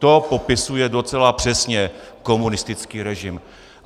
To popisuje docela přesně komunistický režim.